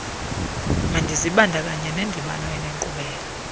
mandizibandakanye nendibano enenkqubela